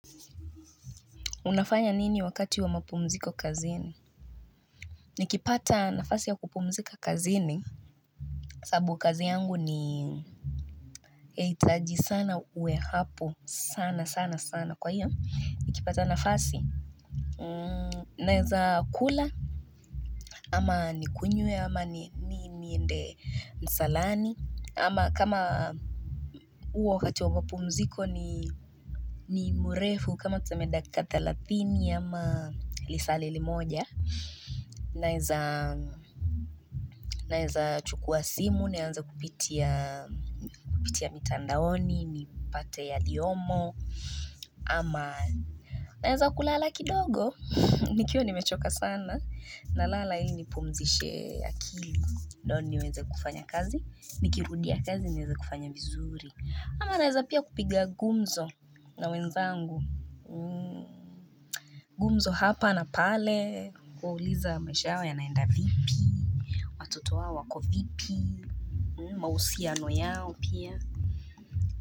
Unafanya nini wakati wa mapumziko kazini? Nikipata nafasi ya kupumzika kazini. Sababu kazi yangu ni itaji sana uwe hapo. Sana, sana, sana kwa hiyo. Nikipata nafasi. Naeza kula. Ama nikunywe. Ama niende msalani. Ama kama huo wakati wa mapumziko ni ni mrefu. Kama tuseme dakika thelathini. Ama lisale limoja. Naeza chukua simu, nianze kupitia mitandaoni, nipate yaliyomo ama naeza kulala kidogo, nikiwa nimechoka sana na lala ili nipumzishe akili ndo niweze kufanya kazi, nikirudia kazi nieze kufanya vizuri ama naeza pia kupiga gumzo na wenzangu gumzo hapa na pale, kuuliza maisha yao yanaenda vipi toto wako vipi mahusiano yao pia.